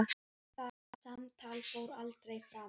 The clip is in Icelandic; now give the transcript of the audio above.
Það samtal fór aldrei fram.